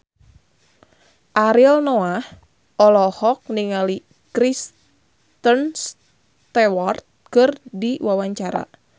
Ariel Noah olohok ningali Kristen Stewart keur diwawancara